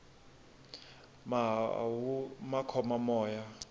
mahawu ma khoma moya